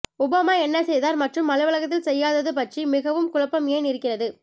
Obama என்ன செய்தார் மற்றும் அலுவலகத்தில் செய்யாதது பற்றி மிகவும் குழப்பம் ஏன் இருக்கிறது